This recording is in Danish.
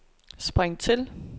spring til